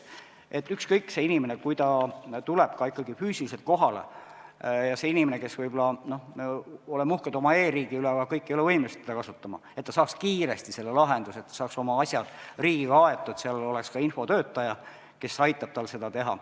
Nii et kui inimene tuleb füüsiliselt kohale – me oleme uhked oma e-riigi üle, aga kõik ei ole võimelised seda kasutama –, siis ta saab kiiresti lahenduse, saab oma asjad riigiga aetud, seal on infotöötaja, kes teda aitab.